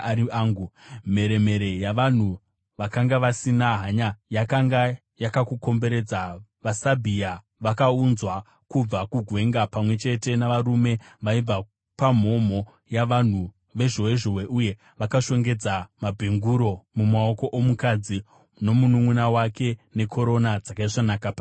“Mheremhere yavanhu vakanga vasina hanya yakanga yakamukomberedza: VaSabhea vakaunzwa kubva kugwenga pamwe chete navarume vaibva pamhomho yavanhu vezhowezhowe, uye vakashongedza mabhenguro mumaoko omukadzi nomununʼuna wake nekorona dzakaisvonaka pamisoro yavo.